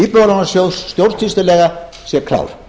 íbúðalánasjóð stjórnsýslulega sé klár